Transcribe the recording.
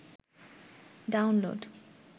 download